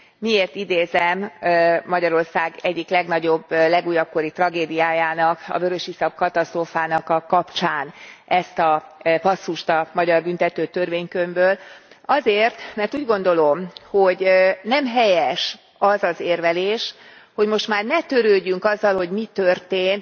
Miért idézem Magyarország egyik legnagyobb, legújabb kori tragédiájának, a vörösiszap katasztrófának a kapcsán ezt a passzust a magyar Büntető Törvénykönyvből? Azért, mert úgy gondolom, hogy nem helyes az az érvelés, hogy most már ne törődjünk azzal, hogy mi történt.